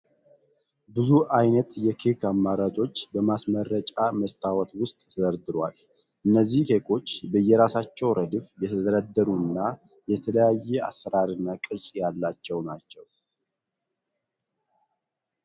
ብዙ አይነት የኬክ አማራጮች በማስመረጫ መስታወት ዉስጥ ተደርድረዋል። እነዚህ ኬኮች በየራሳቸው ረድፍ የተደረደሩ እና የተለያየ አሰራር እና ቅርጽ ያላቸው ናቸው።